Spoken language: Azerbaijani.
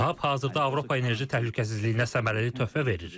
TAP hazırda Avropa enerji təhlükəsizliyinə səmərəli töhfə verir.